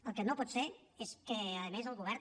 el que no pot ser és que a més el govern